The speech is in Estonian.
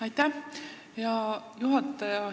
Aitäh, hea juhataja!